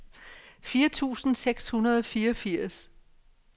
fire tusind seks hundrede og fireogfirs